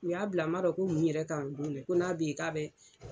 U y'a bila n man dɔn ko mun yɛrɛ kan o don dɛ ko n'a bɛ ye k'a bɛ